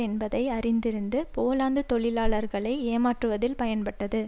என்பதை அறிந்திருந்து போலாந்து தொழிலாளர்களை ஏமாற்றுவதில் பயன்பட்டது